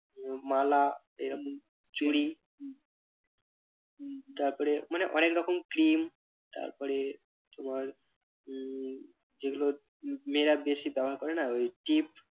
উহ মালা এইরম চুরি তারপরে মানে অনেক রকম cream তারপরে তোমার উহ যেগুলো মেয়েরা বেশি ব্যবহার করে না ওই টিপ